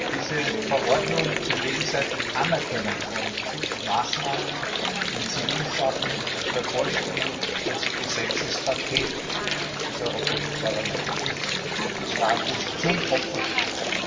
Diese Verordnung zur gegenseitigen Anerkennung von Schutzmaßnahmen in Zivilsachen vervollständigt das Gesetzespaket des Europäischen Parlaments und des Rates zum Opferschutz.